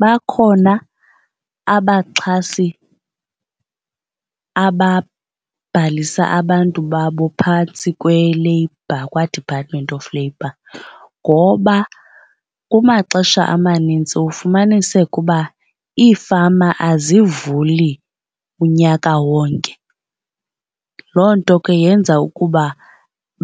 Bakhona abaxhasi ababhalisa abantu babo phantsi kwe-labour kwa-Department of Labor ngoba kumaxesha amanintsi ufumaniseka uba iifama azivuli unyaka wonke. Loo nto ke yenza ukuba